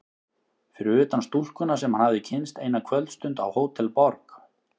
Fyrir utan stúlkuna sem hann hafði kynnst eina kvöldstund á Hótel Borg.